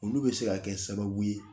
Olu bɛ se ka kɛ sababu ye